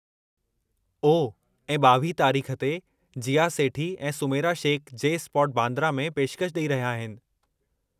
ओह, ऐं 22 तारीख़ ते, जीया सेठी ऐं सुमैरा शेख जे. स्पॉट, बांद्रा में पेशकशि ॾेई रहिया आहिनि।